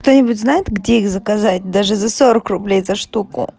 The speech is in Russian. кто-нибудь знает где их заказать даже за сорок рублей за штуку